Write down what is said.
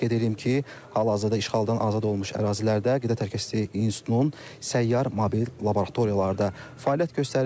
Qeyd edim ki, hal-hazırda işğaldan azad olunmuş ərazilərdə Qida Təhlükəsizliyi İnstitutunun səyyar mobil laboratoriyaları da fəaliyyət göstərir.